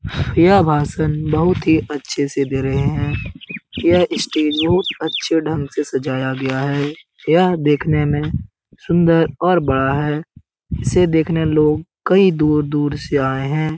यह भाषण बहुत ही अच्छे से दे रहे है । यह स्टेज बहुत अच्छे ढंग से सजाया गया है । यह देखने में सुंदर और बड़ा है। इसे देखने लोग कई दूर-दूर से आए हैं।